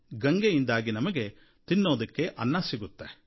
ಗಂಗೆಯಿಂದಾಗಿ ನಮಗೆ ತಿನ್ನಲು ಅನ್ನ ಸಿಗುತ್ತೆ